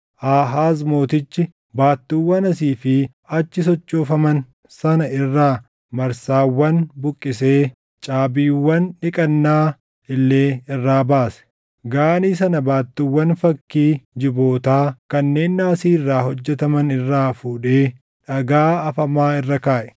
Aahaaz mootichi baattuuwwan asii fi achi sochoofaman sana irraa marsaawwan buqqisee caabiiwwan dhiqannaa illee irraa baase. Gaanii sana baattuuwwan fakkii jibootaa kanneen naasii irraa hojjetaman irraa fuudhee dhagaa afamaa irra kaaʼe.